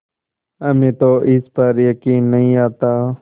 हमें तो इस पर यकीन नहीं आता